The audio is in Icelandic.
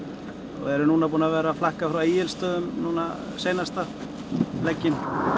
og erum núna búin að vera að flakka frá Egilsstöðum núna seinasta legginn